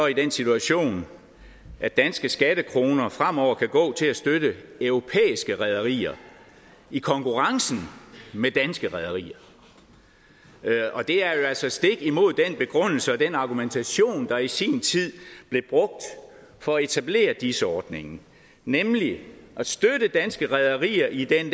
i den situation at danske skattekroner fremover kan gå til at støtte europæiske rederier i konkurrence med danske rederier det er jo altså stik imod den begrundelse og den argumentation der i sin tid blev brugt for at etablere dis ordningen nemlig at støtte danske rederier i den